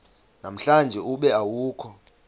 namhlanje ube awukho